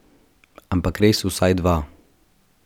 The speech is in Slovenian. Ampak res vsaj dva.